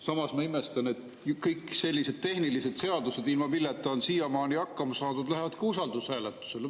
Samas ma imestan, et kõik sellised tehnilised seadused, ilma milleta on siiamaani hakkama saadud, lähevad ka usaldushääletusele.